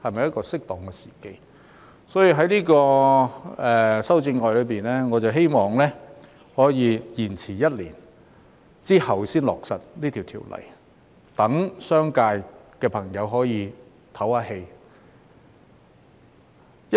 因此，我在修正案中建議延遲一年才落實這項法例，讓商界朋友可以喘息。